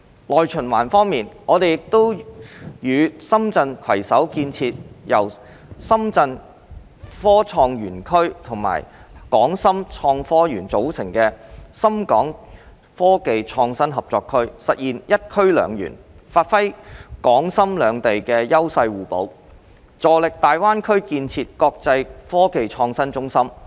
內循環方面，我們亦與深圳市攜手建設由深圳科創園區和港深創科園組成的深港科技創新合作區，實現"一區兩園"，發揮港深兩地優勢互補，助力大灣區建設國際科技創新中心。